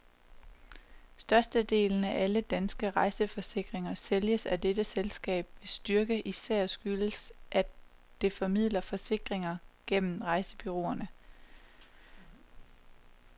Størstedelen af alle danske rejseforsikringer sælges af dette selskab, hvis styrke især skyldes, at det formidler forsikringer gennem rejsebureauerne.